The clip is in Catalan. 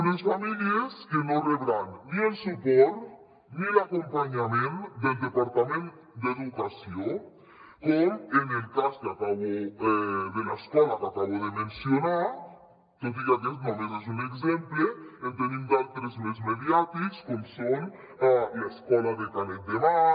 unes famílies que no rebran ni el suport ni l’acompanyament del departament d’educació com en el cas de l’escola que acabo de mencionar tot i que aquest només és un exemple en tenim d’altres més mediàtics com són l’escola de canet de mar